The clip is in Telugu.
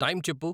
టైం చెప్పు